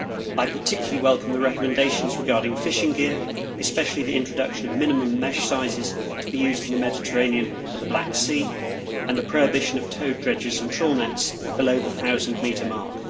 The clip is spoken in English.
I particularly welcome the recommendations regarding fishing gear, especially the introduction of minimum mesh sizes to be used in the Mediterranean and the Black Sea, and the prohibition of towed dredges and trawl nets below the thousand metre mark.